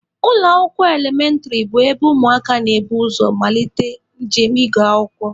Ụlọ akwụkwọ elementịrị bụ ebe ụmụaka na-ebu ụzọ amalite njem ịgụ akwụkwọ